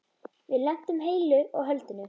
Við lentum heilu og höldnu.